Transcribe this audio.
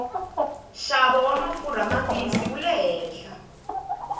xavo wamafurha mambisi wule hehla